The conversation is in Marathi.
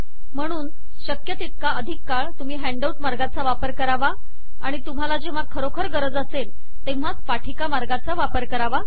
म्हणून शक्य तितका अधिक काळ तुम्ही हॅन्डआऊट मार्गाचा वापर करावा आणि तुम्हाला जेव्हा खरोखर गरज असेल तेव्हाच सादरीकरण मार्गाचा वापर करावा